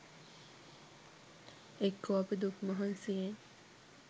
එක්කෝ අපි දුක් මහන්සියෙන්